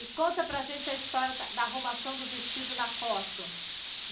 E conta para a gente a história da da arrumação do vestido na foto.